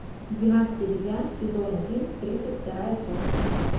двенадцать обезьян сезон один тридцать вторая часть